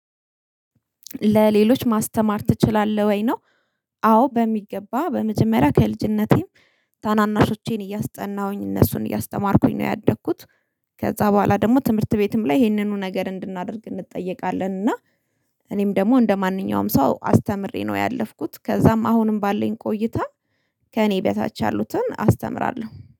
ለሌሎች ማስተማር ትችላለህ ወይ? ነው አዎ በሚገባ በመጀመሪያ ከልጅነቴም ታናናሾቼን እያስጠናሁኝ እነሱን እያስተማርኩኝ ነው ያደግኩት ከዛ በኋላ ደግሞ ትምህርት ቤትም ላይ ይሄንኑ ነገር እንድናደርግ እንጠየቃለን እና እኔም ደግሞ እንደማንኛውም ሰው አስተምሬ ነው ያለፍኩት ከዛም አሁንም ባለን ቆይታ ከእኔ በታች ያሉትን አስተምራለሁ።